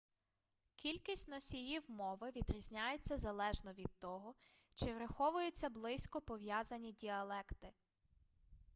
кількість носіїв мови відрізняється залежно від того чи враховуються близько пов'язані діалекти